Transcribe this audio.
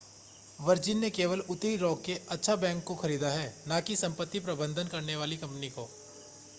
virgin ने केवल उत्तरी रॉक के अच्छा बैंक को खरीदा है न कि संपत्ति प्रबंधन करने वाली कंपनी को